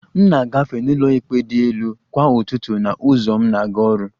M na-agafe n'ụlọikpe dị elu kwa ụtụtụ na ụzọ m na-aga ọrụ